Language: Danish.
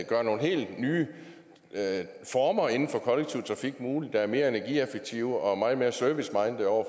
gøre nogle helt nye former inden for kollektiv trafik mulige der er mere energieffektive og meget mere servicemindede over